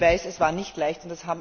Ich weiß, es war nicht leicht.